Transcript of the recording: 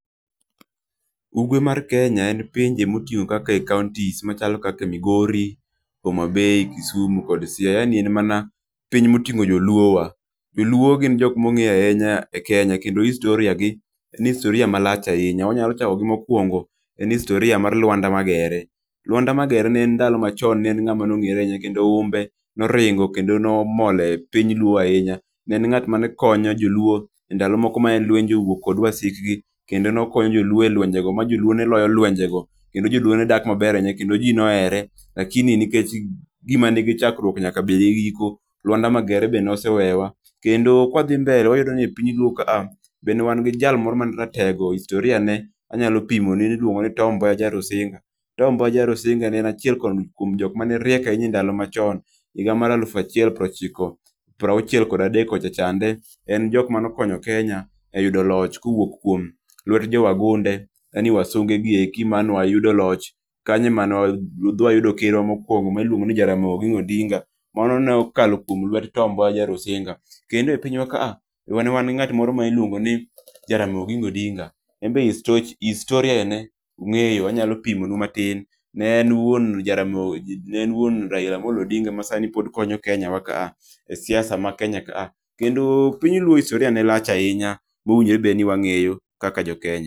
Ugwe mar Kenya en pinje motiyo kaka e kaontis machalo kaka Migori, Homabay, Kisumu kod Siaya, yani en mana piny moting'o joluowa. Joluo gin jok mong'e ahinya e Kenya kendo historia gi en historia malach ahinya. Onyalo chako gi mokwongo, en historia mar Lwanda Magere. Lwanda Magere ne en ndalo machon ne en ng'ama nong'ere ahinya kendo humbe noringo kendo nomol e piny luo ahinya. Ne en ng'at mane konyo joluo ndalo moko mane lwenye owuok kod wasikgi, kendo nokonyo joluo e lwenjego ma joluo ne loyo lwenjego ,kendo joluo ne dak maber ahinya kendo ji ne ohere, lakini nikech gima nigi chakruok nyaka bed gi giko, Lwanda Magere be nosewewa. Kendo kwadhi mbele wayudo ni e piny luo kaa be ne wan gi jal moro mane ratego, historia ne anyalo pimo, ne iluonge ni Tom Mboya Jarusinga. Tom Mboya Jarusinga ne en achiel kuom jok mane riek ahinya e ndalo machon, higa mar aluf achiel piero chik, prauchiel kod adek kocha chande. En jok mane okonya Kenya e yudo loch kowuok kuom lwet jo wagunde yaani wasunge gi eki mane wayudo loch, kanyo ma wayudo kerwa mokwongo miluongo ni Jaramogi Oginga Odinga, mane ne okalo kuom lwet Tom Mboya Jarusinga. Kendo e pinywa ka ne wan gi ng'at moro ma iluongoni Jaramogi Oginga Odinga, en be historia ne ung'eyo, anyalo pimonu matin, ne en wuon Raila Amolo Odinga ma sani pod konyo Kenya wa kaa, siasa ma Kenya ka a. Kendo piny luo historia ne lach ahinya, mowinjore be niwang'eyo kaka jokenya.